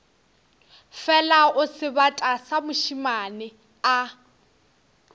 fela o sebata mošemane a